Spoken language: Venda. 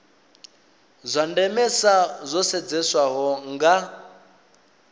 zwa ndemesa zwo sedzeswaho nga